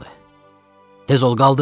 Tez ol, qaldır!